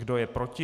Kdo je proti?